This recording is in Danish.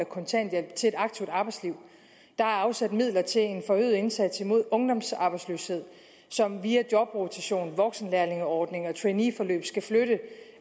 kontanthjælp til et aktivt arbejdsliv der er afsat midler til en forøget indsats mod ungdomsarbejdsløshed som via jobrotation voksenlærlingeordning og traineeforløb skal flytte